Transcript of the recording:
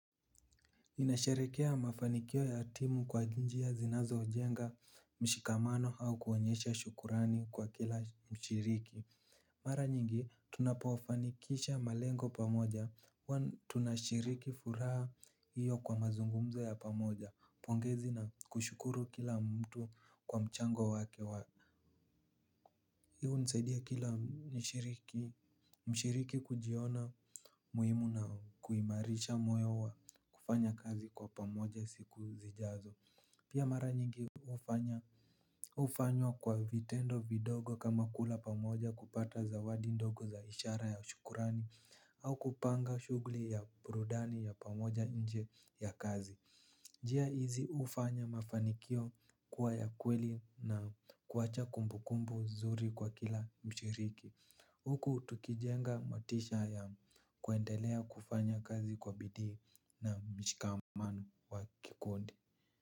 Ninasherekea mafanikio ya timu kwa njia zinazojenga mshikamano au kuonyesha shukrani kwa kila mshiriki. Mara nyingi tunapofanikisha malengo pamoja, tunashiriki furaha hiyo kwa mazungumzo ya pamoja, pongezi na kushukuru kila mtu kwa mchango wake wa hii hunisaidia kila mshiriki kujiona muhimu na kuimarisha moyo wa kufanya kazi kwa pamoja siku zijazo. Pia mara nyingi hufanywa kwa vitendo vidogo kama kula pamoja kupata zawadi ndogo za ishara ya shukurani. Au kupanga shugli ya burudani ya pamoja nje ya kazi njia hizi hufanya mafanikio kuwa ya kweli na kuwacha kumbukumbu zuri kwa kila mshiriki. Huku tukijenga motisha ya kuendelea kufanya kazi kwa bidii na mshikamano wa kikundi.